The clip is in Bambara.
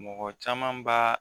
Mɔgɔ caman b'a